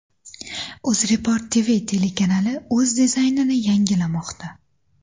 UzReport TV telekanali o‘z dizaynini yangilamoqda.